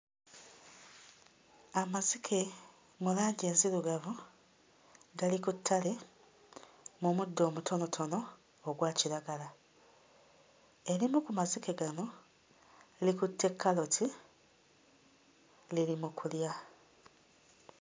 Amazike mu langi enzirugavu gali ku ttale mu muddo omutonotono ogwa kiragala. Erimu ku mazike gano likutte kkaloti liri mu kulya.